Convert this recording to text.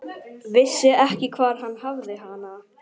Vissi ekki hvar hann hafði hana.